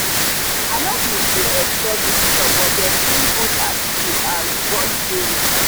i no bin dey expect visitors but them bring good attitude and board games.